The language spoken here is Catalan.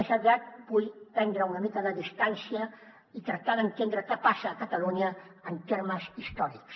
més aviat vull prendre una mica de distància i tractar d’entendre què passa a catalunya en termes històrics